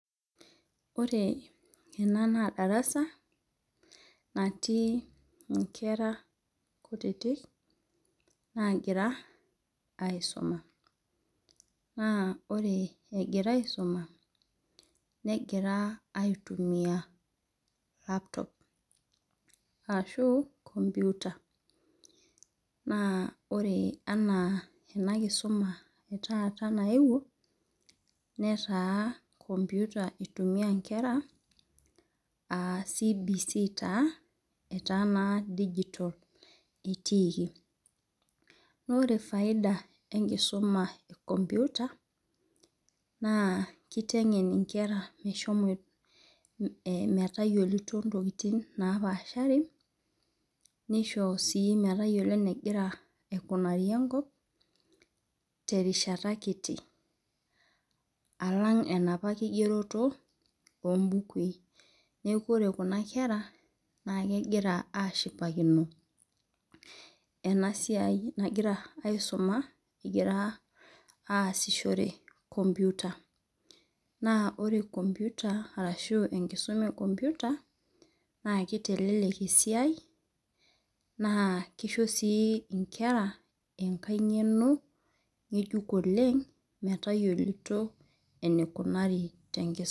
Ore ena na darasa natii nkera kutitik nagira aisuma na ore egira aisuma negira aitumia laptop ashu enkomputa na ore ena ena kisuma naewuo netaa enkomputa itumiai nkera aa cbs taa etaa na digital etiiki ore faida enkisuka e enkomputa na kitengen nkera metayiolo ntokitin napaashari nisho si metayiolo enegira aikunari enkop terishata kiti alang enaapa kigeroto ombukui neaku ore kuna kera kegira ashipakino enasiai nagira aisuma egira asishore enkomputa na kiteleek esiai na kisho nkera enkae ngeno metayiolo enikunari tenkisuma.